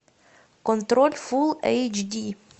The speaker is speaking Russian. контроль фул эйч ди